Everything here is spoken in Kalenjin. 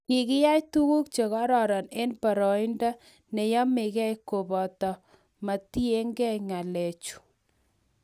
Kikiyai tuguk che kororon eng boroindo ne yomegei kobate mogitiegei ng'alechu